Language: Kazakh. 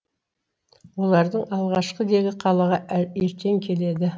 олардың алғашқы легі қалаға ертең келеді